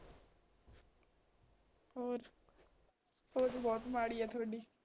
ਹੋਰ ਸੋਚ ਬਹੁਤ ਮਾੜੀ ਆ ਥੋਡੀ